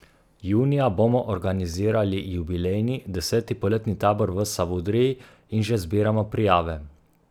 Junija bomo organizirali jubilejni, deseti poletni tabor v Savudriji in že zbiramo prijave.